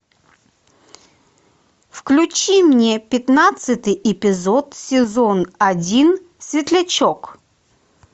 включи мне пятнадцатый эпизод сезон один светлячок